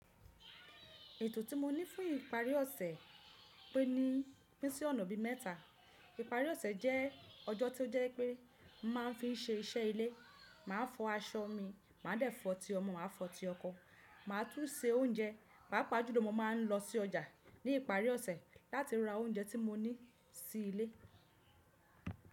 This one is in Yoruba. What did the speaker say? Ètò tí mo ní fún ìparí ọ̀sẹ̀ peni pín sí ọ̀nà bí mẹ́ta. Ìparí ọ̀sẹ̀ jẹ́ ọjọ́ tí ó jẹ́ pé màá fi ń se iṣẹ́ ilé, màá fọ aṣọ mi, màá dẹ̀ fọ̀ tí ọmọ, màá fọ̀ ti ọkọ, màá tún se oúnjẹ, pàápàá júlọ mó màá ń lọ sí ọjà ní ìparí ọ̀sẹ̀ láti ra oúnjẹ tí mó ní sí ilé.